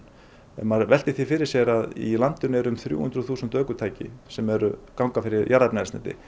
maður veltir því fyrir sér að í landinu eru um þrjú hundruð þúsund ökutæki sem ganga fyrir jarðefnaeldsneyti